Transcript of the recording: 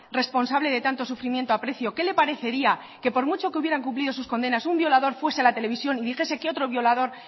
responsable de tanto sufrimiento aprecio qué le parecería que por mucho que hubieran cumplido sus condenas un violador fuese a la televisión y dijese que otro violador